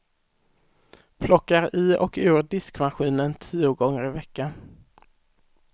Plockar i och ur diskmaskinen tio gånger i veckan.